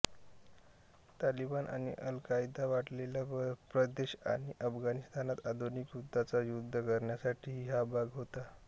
तालिबान आणि अल कायदाचा वाढलेला प्रदेशआणि अफगाणिस्तानात आधुनिक युद्धाचा युद्ध करण्यासाठीही हा भाग होता